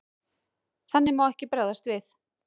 Þannig má ekki bregðast við.